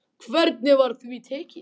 Hvernig var því tekið?